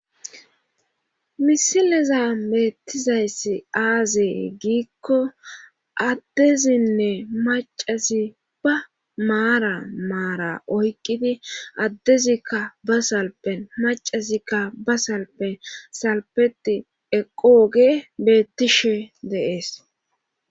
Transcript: Misileza beettizayssi aazee giikko addezinne macasi ba maara maara oykqidi addezikka ba salpen macazikka ba salpen salpeti eqooge beettishe deees.